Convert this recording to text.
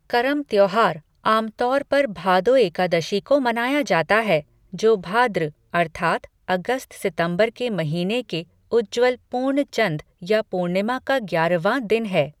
करम त्यौहार आमतौर पर भादो एकादशी को मनाया जाता है, जो भाद्र अर्थात् अगस्त सितंबर के महीने के उज्ज्वल पूर्णचंद या पूर्णिमा का ग्यारहवां दिन है।